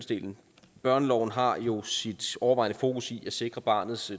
børneloven har jo sit overvejende fokus i at sikre barnets